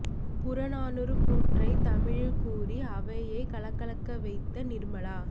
புறநானூறு கூற்றை தமிழில் கூறி அவையை கலகலக்க வைத்த நிர்மலா